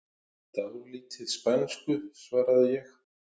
Dálítið spænsku, svaraði ég.